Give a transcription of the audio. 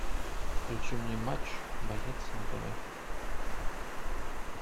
включи мне матч боец на тв